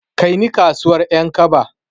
Kaini kasuwar Ƴankaba.